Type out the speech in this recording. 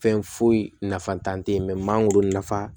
Fɛn foyi nafatan tɛ ye mangoro nafa